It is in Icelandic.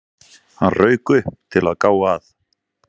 Hann rauk upp, til að gá að